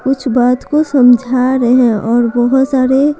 कुछ बात को समझा रहे हैं और बहुत सारे--